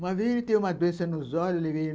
Uma vez ele teve uma doença nos olhos, levei ele